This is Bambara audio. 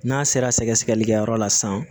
N'a sera sɛgɛsɛgɛlikɛyɔrɔ la san